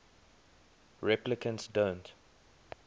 replicants don't